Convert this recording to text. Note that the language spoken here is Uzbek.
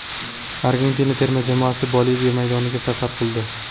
Argentina terma jamoasi Boliviya maydoniga safar qildi.